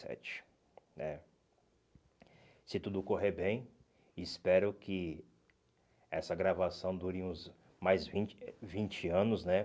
sete né. Se tudo correr bem, espero que essa gravação dure uns mais vinte vinte anos, né?